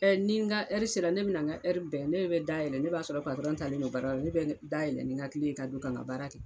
Ɛɛ ni n ka sera, ne be na n ka bɛn. Ne de be da yɛlɛ, ne b'a sɔrɔ taa len don baara yɔrɔ la. Ne be da yɛlɛ ni n ka kile ye ka don ka n ka baara kɛ.